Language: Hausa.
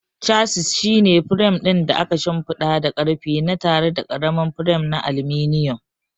Chassis shine firam ɗin da aka shimfiɗa da ƙarfe na tare da ƙaramin firam na aluminum.